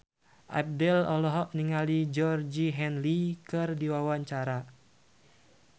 Abdel olohok ningali Georgie Henley keur diwawancara